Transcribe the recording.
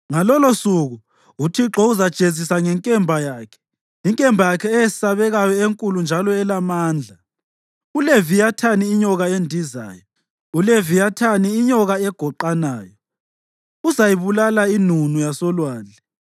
Ngalolosuku, uThixo uzajezisa ngenkemba yakhe, inkemba yakhe eyesabekayo, enkulu njalo elamandla, uLeviyathani inyoka endizayo, uLeviyathini inyoka egoqanayo; uzayibulala inunu yasolwandle.